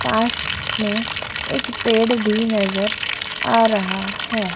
पास में एक पेड़ भी नज़र आ रहा है।